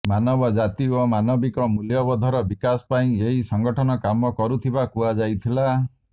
ମାନବ ଜାତି ଓ ମାନବିକ ମୂଲ୍ୟବୋଧର ବିକାଶ ପାଇଁ ଏହି ସଂଗଠନ କାମ କରୁଥିବା କୁହାଯାଇଥିଲା